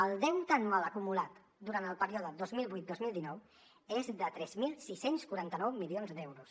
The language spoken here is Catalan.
el deute anual acumulat durant el període dos mil vuit dos mil dinou és de tres mil sis cents i quaranta nou milions d’euros